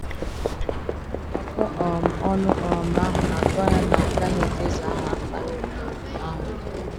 Ọkọ um ọnụ um àhụ na-atụ anya na a gaghị echezọ aha mkparị um àhụ.